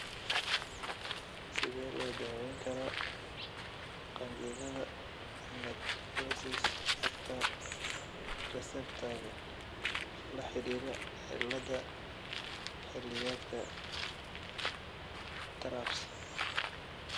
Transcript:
Sidee loo daweyn karaa qanjidhada necrosis factor reseptor-ka la xidhiidha cilladda xilliyeedka (TRAPS)?